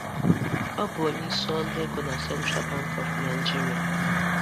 Ọ bụ onye isi ọrụ ego na Central Bank of Naijiria.